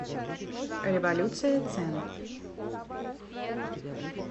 революция цен